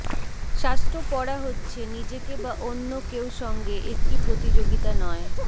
শাস্ত্র পড়া হচ্ছে নিজেকে বা অন্য কেউ সঙ্গে একটি প্রতিযোগিতা নয়